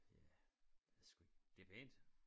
Ja ved sgu ikke det er pænt